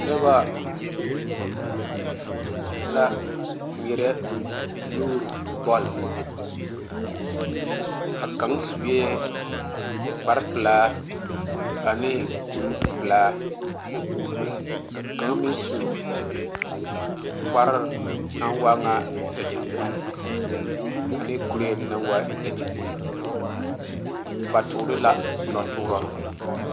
Noba la ŋmeɛrɛ nuure bol a kaŋ suɛ kpare pelaa ane kuri pelaa ka kaŋa meŋ su kparre naŋ waa nyɛ dakyipul ane kuri naŋ waa nyɛ dakyipul ba tuure la noɔ tuuro.